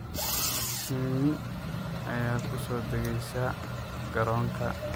Shinni ayaa ku soo degeysa garoonka.